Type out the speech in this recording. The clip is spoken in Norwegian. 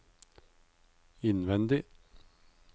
innvendig